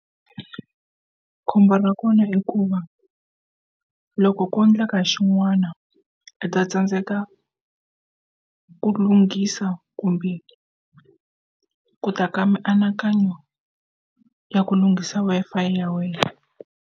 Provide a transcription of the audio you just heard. Khombo ra kona i ku va loko ko endleka xin'wana u ta tsandzeka ku lunghisa kumbe ku ta ka mianakanyo ya ku lunghisa Wi-Fi ya wena.